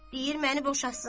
Deyir məni boşasın.